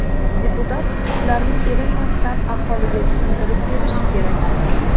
Deputat shularni erinmasdan aholiga tushuntirib berishi kerak.